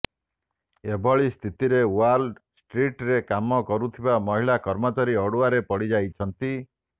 ଏଭଳି ସ୍ଥିତିରେ ୱାଲ୍ ଷ୍ଟ୍ରିଟ୍ରେ କାମ କରୁଥିବା ମହିଳା କର୍ମଚାରୀ ଅଡୁଆରେ ପଡ଼ିଯାଇଛନ୍ତି